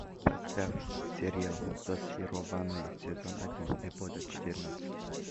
поставь сериал зачарованные сезон один эпизод четырнадцать